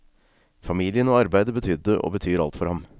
Familien og arbeidet betydde og betyr alt for ham.